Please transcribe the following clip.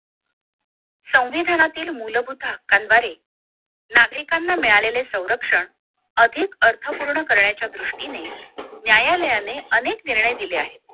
संविधानातील मूलभूत हक्कांद्वारे नागरिकांना मिळालेले संरक्षण अधिक अर्थपूर्ण करण्याच्या दृष्टीने न्यायालायने अनेक निर्णय दिले आहेत